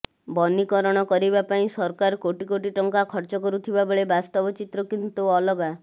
ବନୀକରଣ କରିବା ପାଇଁ ସରକାର କୋଟି କୋଟି ଟଙ୍କା ଖର୍ଚ୍ଚ କରୁଥିବା ବେଳେ ବାସ୍ତବ ଚିତ୍ର କିନ୍ତୁ ଅଲଗା